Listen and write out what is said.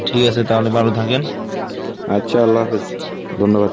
ঠিক আছে তাহলে ভালো থাকেন। আচ্ছা আল্লাহাফিস, ধন্যবাদ,